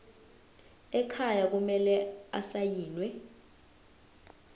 ekhaya kumele asayiniwe